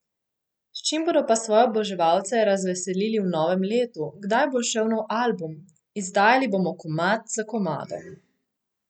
S čim bodo pa svoje oboževalce razveselili v novem letu, kdaj bo izšel nov album: "Izdajali bomo komad za komadom ...